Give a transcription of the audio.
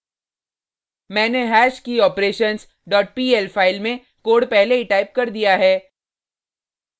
मैंने hashkeyoperations dot pl file में code पहले ही टाइप कर दिया है